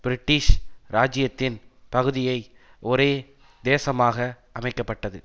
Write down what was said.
British ராஜ்ஜியத்தின் பகுதியை ஒரே தேசமாக அமைக்க பட்டது